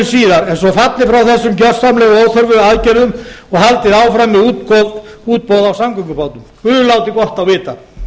síðar er svo fallið frá þessum gjörsamlega óþörfu aðgerðum og haldið áfram með útboð á samgöngubótum guð láti gott á vita